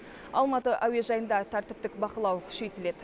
алматы әуежайында тәртіптік бақылау күшейтіледі